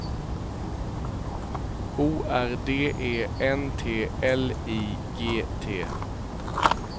O R D E N T L I G T